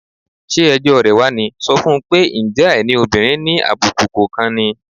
Ṣé ẹjọ́ rẹ̀ wá ní? Sọ fún un pé, "ǹjẹ́ àìní òbìnrin ni àbùkù kò kan ni?"